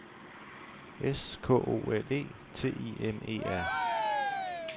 S K O L E T I M E R